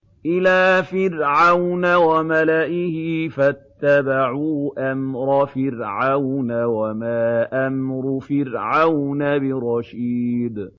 إِلَىٰ فِرْعَوْنَ وَمَلَئِهِ فَاتَّبَعُوا أَمْرَ فِرْعَوْنَ ۖ وَمَا أَمْرُ فِرْعَوْنَ بِرَشِيدٍ